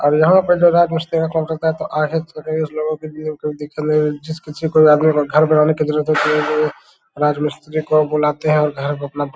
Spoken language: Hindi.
और यहां पे जो राजमिस्त्री का काम राजमिस्त्री को बुलाते हैं और घर को अपना --